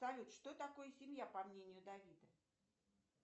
салют что такое семья по мнению давида